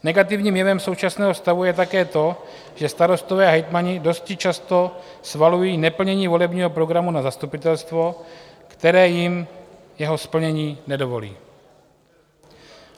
Negativním jevem současného stavu je také to, že starostové a hejtmani dosti často svalují neplnění volebního programu na zastupitelstvo, které jim jeho splnění nedovolí.